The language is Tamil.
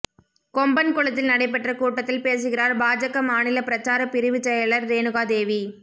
கொம்பன்குளத்தில் நடைபெற்ற கூட்டத்தில் பேசுகிறாா் பாஜக மாநில பிரசாரப் பிரிவுச் செயலா் ரேணுகாதேவி